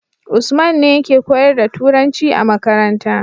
usman ne yake koyar da turanci a makaranta